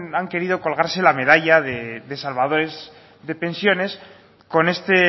han querido colgarse la medalla de salvadores de pensiones con este